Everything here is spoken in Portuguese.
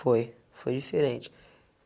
Foi, foi diferente.